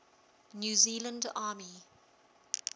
new zealand army